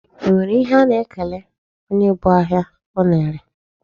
E nwere ihe a na-ekele onye bu ahịa ọ na-ere?